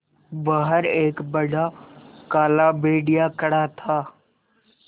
बाहर एक बड़ा काला भेड़िया खड़ा था